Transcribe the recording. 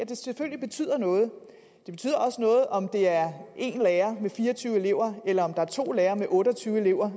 det selvfølgelig betyder noget det betyder også noget om der er en lærer med fire og tyve elever eller om der er to lærere med otte og tyve elever